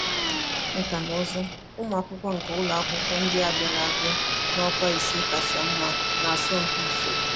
Nkà na ụzụ: Ụmụ akwụkwọ nke ụlọ akwụkwọ ndị a bịara a bịara n'ọkwa ise kacha mma n'asọmpi usoro